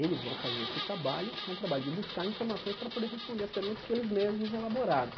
Eles vão fazer esse trabalho, que é um trabalho de buscar informações para poder responder as perguntas que eles mesmos elaboraram.